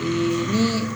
ni